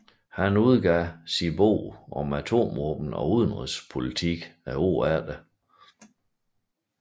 Han udgav sin bog Atomvåben og udenrigspolitik året efter